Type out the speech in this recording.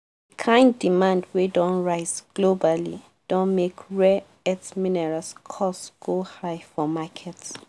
kain demand wey don rise globally don make rare earth minerals cost go high for market